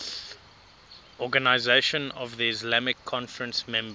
organisation of the islamic conference members